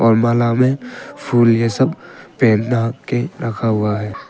माला में फूल ये सब पहेना के रखा हुआ हैं।